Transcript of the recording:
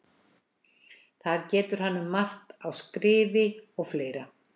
Þar getur hann um margt á skrifi og fleira.